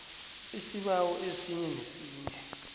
isibawo esinye nesinye